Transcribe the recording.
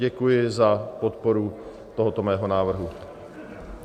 Děkuji za podporu tohoto mého návrhu.